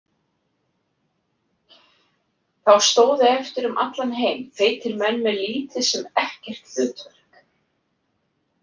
Þá stóðu eftir um allan heim feitir menn með lítið sem ekkert hlutverk.